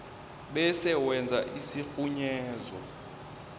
bese wenza isirhunyezo